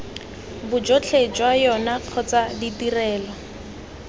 bojotlhe jwa yona kgotsa ditrelo